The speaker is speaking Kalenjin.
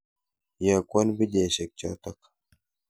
Iyokwon pichaisyek chotok.